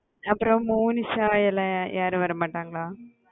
அப்புறம் monisha எல்லாம் யாரும் வரமாட்டாங்களா